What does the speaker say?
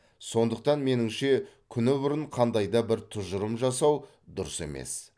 сондықтан меніңше күні бұрын қандай да бір тұжырым жасау дұрыс емес